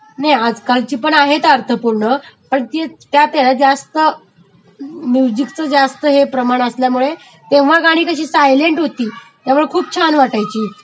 नाही आज कालची पण आहेत अर्थपूर्ण पण त्यातहेना जास्त म्युजिकचं जास्त हे प्रमाण असल्यामुळे तेव्हा गाणी कशी सायलेंट होती, त्यामुळे खूप छान वाटायची